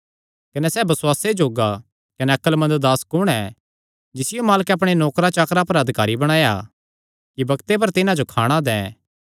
कने सैह़ बसुआसे जोग्गा कने अक्लमंद दास कुण ऐ जिसियो मालकैं अपणे नौकरां चाकरां पर अधिकारी बणाया कि बग्ते पर तिन्हां जो खाणा दैं